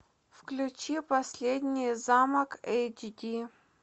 включи последний замок эйч ди